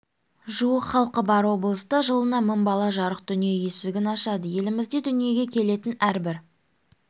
жуық халқы бар облыста жылына мың бала жарық дүние есігін ашады елімізде дүниеге келетін әрбір